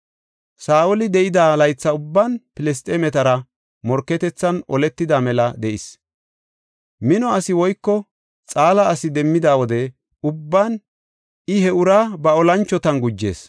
Saa7oli de7ida laytha ubban Filisxeemetara morketethan oletida mela de7is. Mino asi woyko xaala asi demmida wode ubban I he uraa ba olanchotan gujees.